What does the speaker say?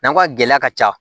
N'an ko ka gɛlɛya ka ca